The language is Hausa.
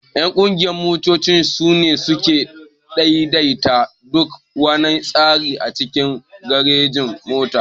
Ƴan ƙungiyan motoci sune suke ɗaiɗaita duk wana tsari a cikin garejin-mota.